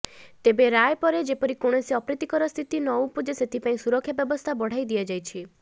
ତେବେ ରାୟ ପରେ ଯେପରି କୌଣସି ଅପ୍ରୀତିକର ସ୍ଥିତି ନଉପୁଜେ ସେଥିପାଇଁ ସୁରକ୍ଷା ବ୍ୟବସ୍ଥା ବଢାଇ ଦିଆଯାଇଛି